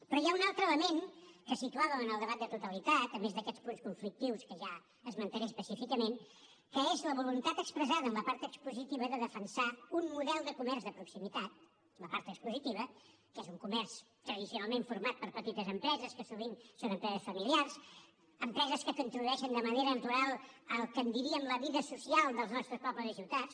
però hi ha un altre element que situàvem en el debat de totalitat a més d’aquests punts conflictius que ja esmentaré específicament que és la voluntat expressada en la part expositiva de defensar un model de comerç de proximitat en la part expositiva que és un comerç tradicionalment format per petites empreses que sovint són empreses familiars empreses que contribueixen de manera natural al que en diríem la vida social dels nostres pobles i ciutats